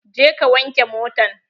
Je ka wanke motan!